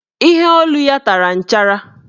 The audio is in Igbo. Iheolu ya tara nchara.